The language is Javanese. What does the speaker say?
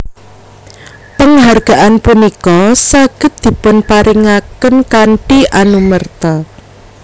Penghargaan punika saged dipunparingaken kanthi anumerta